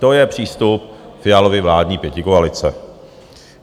To je přístup Fialovy vládní pětikoalice.